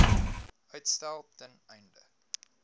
uitstel ten einde